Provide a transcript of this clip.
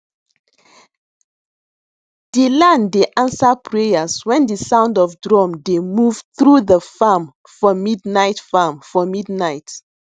de land dey answer prayers wen de sound of drum dey move through de farm for midnight farm for midnight